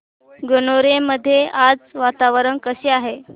गणोरे मध्ये आज वातावरण कसे आहे